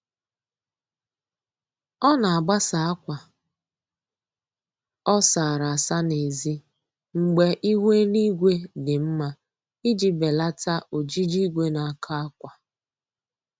Ọ na-agbasa akwa ọ sara asa n'ezi mgbe ihu eluigwe dị mma iji belata ojiji igwe na-akọ akwa